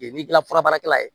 N'i kilala furabaarakɛla ye